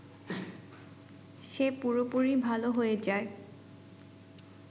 সে পুরোপুরি ভালো হয়ে যায়